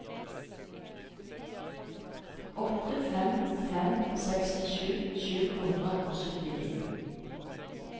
åtte fem fem fem sekstisju sju hundre og syttini